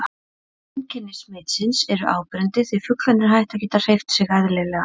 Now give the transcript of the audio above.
Einkenni smitsins eru áberandi því fuglarnir hætta að geta hreyft sig eðlilega.